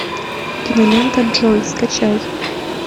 кинолента джой скачай